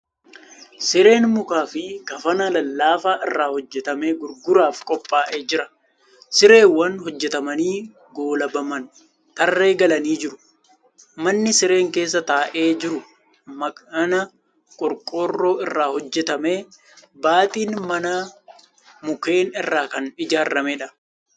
Sireen mukaa fi kafana lallaafaa irraa hojjatame gurguraaf qophaa'ee jira . Sireewwan hojjatamanii goolabaman tarree galanii jiru. Manni sireen keessa taa'ee jiru mana qorqoorroo irraa hojjatame . Baaxiin manaa mukkeen irraa kan ijaarameedha.